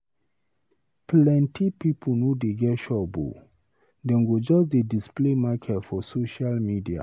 Plenty pipu no dey get shop o, dem go just dey display market for social media.